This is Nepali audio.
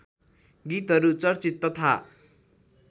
गीतहरू चर्चित तथा